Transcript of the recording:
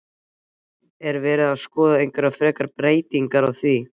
Er verið að skoða einhverjar frekari breytingar á því?